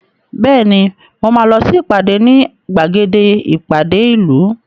Bẹ́ẹ̀ni mo máa lọ sí ìpàdé ní gbàgede ìpàdé ìlú